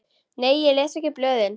Nei ég les ekki blöðin.